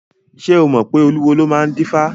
Ṣé o mọ̀ pé olúwo ló máa ń dífá?